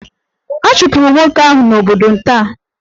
A chụpụrụ nwoke ahụ n'obodo nta.